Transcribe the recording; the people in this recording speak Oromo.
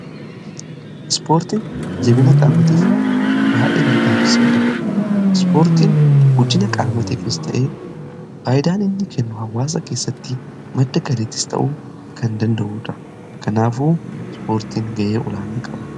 Ispoortiin jabina qaamaatii fi fayyaa ilma namaatiif faayidaa guddaa qaba.